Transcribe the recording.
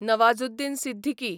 Nawazuddin Siddiqui